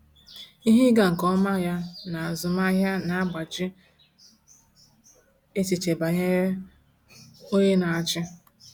Ihe ịga nke ọma ya na azụmahịa na-agbaji echiche banyere onye na-achị.